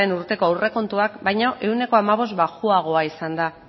urteko aurrekontuak baino ehuneko hamabost baxuagoa izan da